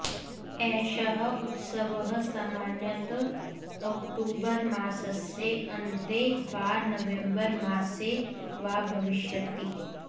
एषः उत्सवः सामान्यतः ओक्टोबर् मासस्य अन्ते वा नवेम्बरमासे वा भविष्यति